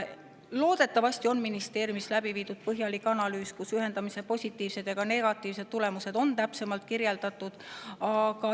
Loodetavasti on ministeeriumis läbi viidud põhjalik analüüs, kus on ühendamise positiivsed ja ka negatiivsed tulemused täpsemalt kirjeldatud.